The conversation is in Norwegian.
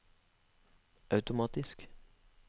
automatisk